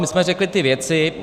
My jsme řekli ty věci.